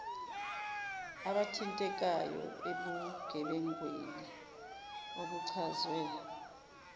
abathintekayo ebugebengwini obuchazwe